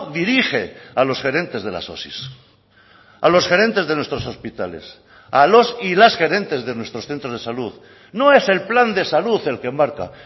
dirige a los gerentes de las osi a los gerentes de nuestros hospitales a los y las gerentes de nuestros centros de salud no es el plan de salud el que marca